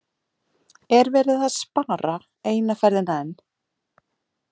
Er verið að spara eina ferðina enn?